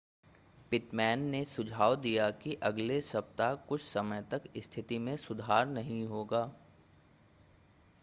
Pitman ने सुझाव दिया कि अगले सप्ताह कुछ समय तक स्थिति में सुधार नहीं होगा